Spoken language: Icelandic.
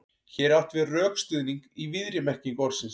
Hér er átt við rökstuðning í víðri merkingu orðsins.